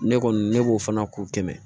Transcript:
Ne kɔni ne b'o fana k'o kɛmɛ